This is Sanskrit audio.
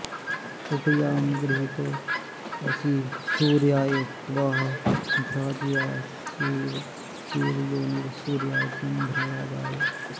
उपयामगृहीतोऽसि सूर्याय त्वा भ्राजायैष ते योनिः सूर्याय त्वा भ्राजाय